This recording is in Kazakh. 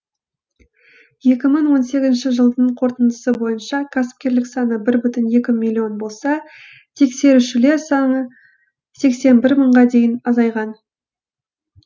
екі мың он сегізінші жылдың қорытындысы бойынша кәсіпкерлік саны бір бүтін екі миллион болса тексерушілер саны сексен бір мыңға дейін азайған